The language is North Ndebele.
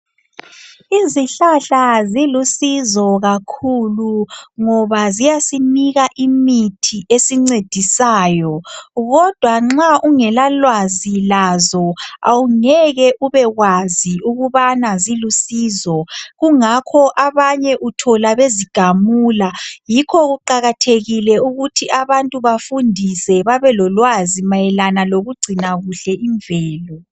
Izihlahla zilusizo kakhulu ngoba ziyasinika imithi esincedisayo kodwa nxa ungela lwazi lazo awungeke ubekwazi ukubana zilusizo kungakho abanye uthola bezigamula yikho kuqakathekile ukuthi abantu bafundiswe babelolwazi mayelana lokucina kuhle imvelo.